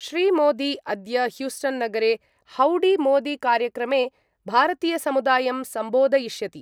श्रीमोदी अद्य ह्यूस्टन्नगरे हौडीमोदीकार्यक्रमे भारतीयसमुदायं संबोधयिष्यति।